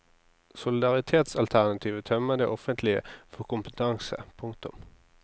Solidaritetsalternativet tømmer det offentlige for kompetanse. punktum